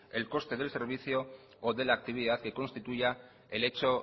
el coste del servicio o de la actividad que constituya el hecho